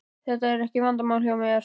Þetta er ekki vandamál hjá mér.